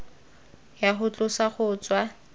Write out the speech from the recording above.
ya go tlosa go tswa